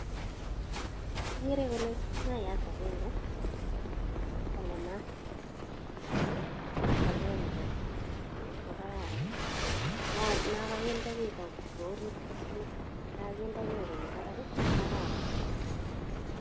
Ogere kole maayata agenge kong'emat ko agenge ko kararan, non koginde bii ak kwo ngweny ko samis. Non koginde bii ak konyo barak kokararan.